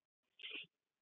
Kleppjárnsreykjum